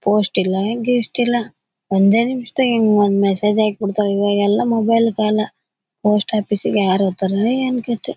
Post ಇಲ್ಲ east ಇಲ್ಲ ಒಂದೇ ನಿಮಿಷದಲ್ ಹೇಗ್ ಒಂದ್ ಮೆಸೇಜ್ ಹಾಕ್ಬೇಡ್ತಾರೆ ಇವಾಗ್ ಎಲ್ಲ ಮೊಬೈಲ್ ಕಾಲ ಪೋಸ್ಟ್ ಆಫೀಸ್ ಗೆ ಯಾರೋ ಹೋಗ್ತಾರೋ ಏನ್ ಕಥೆ.